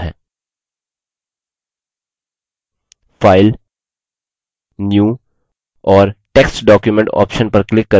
file new और text document option पर click करके एक नया text document खोलते हैं